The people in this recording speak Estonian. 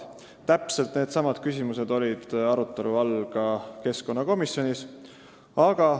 Täpselt needsamad küsimused olid arutelu all ka keskkonnakomisjonis.